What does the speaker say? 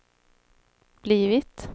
blivit